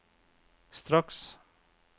straks